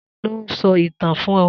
Ta lo so itan fun o?